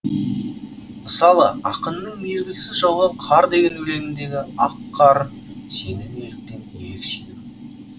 мысалы ақынның мезгілсіз жауған қар деген өлеңіндегі ақ қар сені неліктен ерек сүйдім